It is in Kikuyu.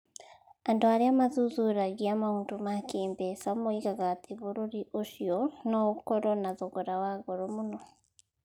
Andũ arĩa mathuthuragia maũndũ ma kĩĩmbeca moigaga atĩ bũrũri ũcio no ũkorũo na thogora wa goro mũno.